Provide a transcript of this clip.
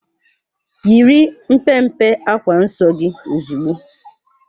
Yiri mpe mpe akwa nsọ gị ozugbo!